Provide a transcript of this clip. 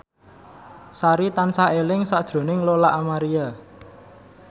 Sari tansah eling sakjroning Lola Amaria